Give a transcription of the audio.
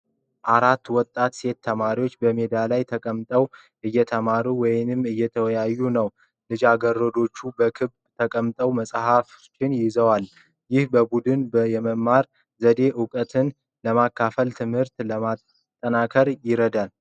አራት ወጣት ሴት ተማሪዎች በሜዳ ላይ ተቀምጠው እየተማሩ ወይም እየተወያዩ ነው ። ልጃገረዶቹ በክበብ ተቀምጠው መጽሐፍቶችን ይዘዋ ል ። ይህ በቡድን የመማር ዘዴ እውቀትን ለመካፈልና ትምህርትን ለማጠናከር ይረዳል ።